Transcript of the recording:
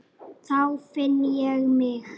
Þá finn ég mig.